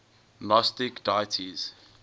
gnostic deities